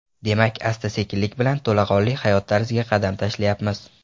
Demak, asta-sekinlik bilan to‘laqonli hayot tarziga qadam tashlayapmiz.